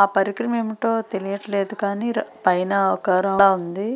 ఆ పరికరం ఏమిటో తెలియట్లేదు కానీ పైన ఒకరకంగా ఉంది.